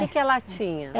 Que que ela tinha?